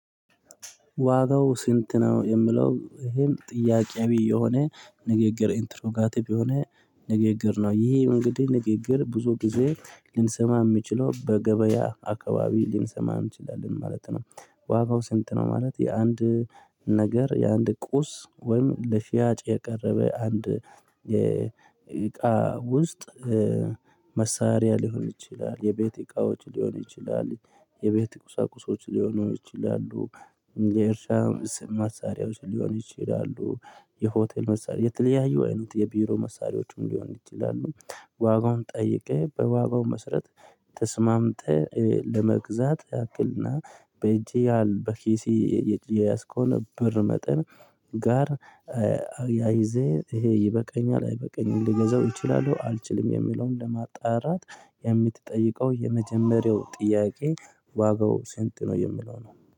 ዋጋው ስንት ነው የምለው ይሄም ጥያቄያዊ የሆነ ንግግር ኢንትሮጋቲብ የሆነ ንግግር ነው ይሄ እንግዲ ንግግር ብዙ ጊዜ ልንሰማ የምችለው በገበያ አካባቢ ልንሰማ እንችላለን ማለት ነው። ዋጋው ስንት ነው ማለት የአንድ ነገር የአንድ ቁስ ወይም ለሽያጭ የቀረበ አንድ የእቃ ውስጥ መሳሪያ ሊሆን ይችላል የቤት እቃዎች ሊሆን ይችላል የቤት ቁሳቁሶች ሊሆኑ ይችላሉ የእርሻም መሳሪያዎች ሊሆን ይችላሉ የሆቴል መሳሪያ የተለያዩ አይነት የቢሮ መሳሪያዎችም ሊሆን ይችላሉ። ዋጋውን ጠይቄ በዋጋው መስረት ተስማምተ ለመግዛት ያክልና በእጄ ያህል በኪሲ የያዝከውን ብር መጠን ጋር አያይዜ ይሄ ይበቃኛል አይበቃኝም ሊገዛው ይችላለው አልችልም የሚለውን ለማጣራት የምትጠይቀው የመጀመሪያው ጥያቄ ዋጋው ስንት ነው የምለው ነው